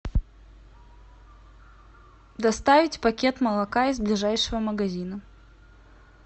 доставить пакет молока из ближайшего магазина